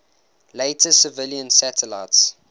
later civilian satellites